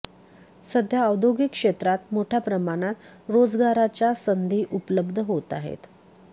सध्या औद्योगिक क्षेत्रात मोठ्या प्रमाणात रोजगाराच्या संधी उपलब्ध होत आहेत